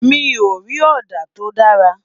mí o rí òdà to dára